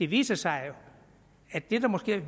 viser sig at det der måske er